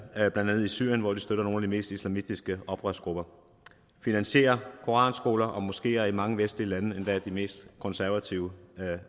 blandt andet i syrien hvor de støtter nogle af de mest islamistiske oprørsgrupper finansierer koranskoler og moskeer i mange vestlige lande endda de mest konservative